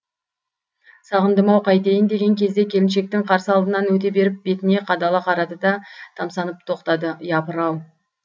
сағындым ау қайтейін деген кезде келіншектің қарсы алдынан өте беріп бетіне қадала қарады да тамсанып тоқтады япырау